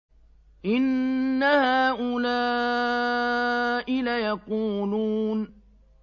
إِنَّ هَٰؤُلَاءِ لَيَقُولُونَ